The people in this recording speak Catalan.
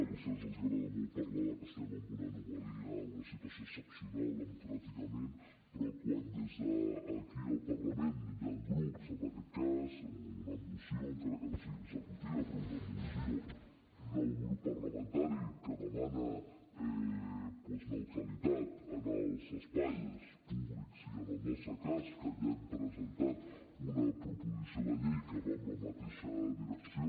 a vostès els agrada molt parlar que estem en una anomalia una situació excepcional democràticament però quan des d’aquí al parlament hi han grups en aquest cas o una moció encara que no sigui executiva però una moció d’un grup parlamentari que demana neutralitat en els espais públics i en el nostre cas que ja hem presentat una proposició de llei que va en la mateixa direcció